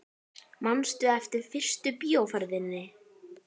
Manstu eftir fyrstu bíóferð þinni?